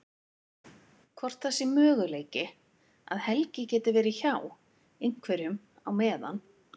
Hvort það sé möguleiki að Helgi geti verið hjá. einhverjum á meðan.